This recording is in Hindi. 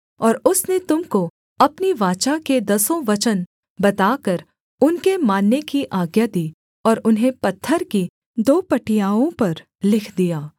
और उसने तुम को अपनी वाचा के दसों वचन बताकर उनके मानने की आज्ञा दी और उन्हें पत्थर की दो पटियाओं पर लिख दिया